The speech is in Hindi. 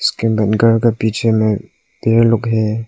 घर के पीछे में पेड़ लगे हैं।